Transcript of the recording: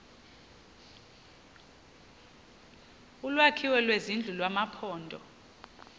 olwakhiwo lwezindlu kumaphondo